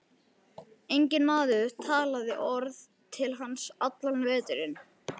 Enginn maður talaði orð til hans allan veturinn.